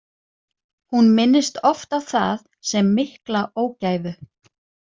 Hún minntist oft á það sem mikla ógæfu.